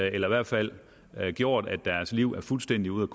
i hvert fald har gjort at deres liv er fuldstændig ude